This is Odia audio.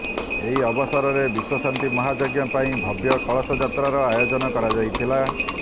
ଏହି ଅବସରରେ ବିଶ୍ୱଶାନ୍ତି ମହାଯଜ୍ଞ ପାଇଁ ଭବ୍ୟ କଳସ ଯାତ୍ରାର ଆୟୋଜନ କରାଯାଇଥିଲା